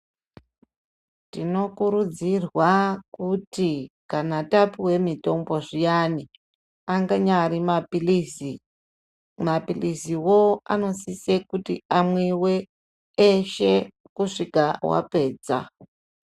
Tinokurudzirwa kuti kana tapiwe mitombo zviyani anyari mapilizi, mapilizi wo anosise kuti amwiwe eshe kusvika wapedza.